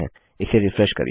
इसे रिफ्रेश करिए